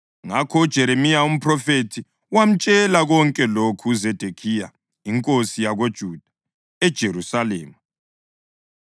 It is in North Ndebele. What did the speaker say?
Ngakho uJeremiya umphrofethi wamtshela konke lokhu uZedekhiya inkosi yakoJuda, eJerusalema,